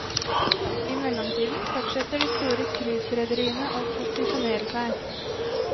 I mellomtiden fortsetter de store cruiserederiene å posisjonere seg.